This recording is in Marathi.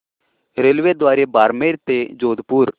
रेल्वेद्वारे बारमेर ते जोधपुर